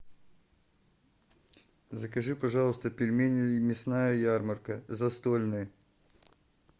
закажи пожалуйста пельмени мясная ярмарка застольные